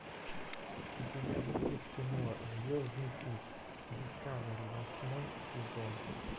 у тебя будет кино звездный путь дискавери восьмой сезон